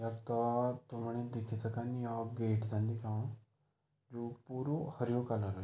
यक्का पाणी दिखि सकन यौ गेट छन दिख्योणु जू पूरू हर्युं कलर --